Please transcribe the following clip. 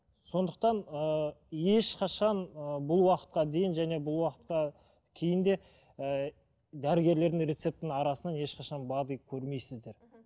сондықтан ыыы ешқашан ыыы бұл уақытқа дейін және бұл уақытқа кейін де ііі дәрігерлердің рецептінің арасынан ешқашан бад ы көрмейсіздер мхм